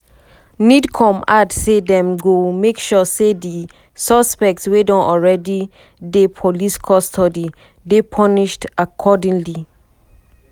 nidcom add say dem dem go make sure say di suspect wey don already dey police custody dey punished accordingly.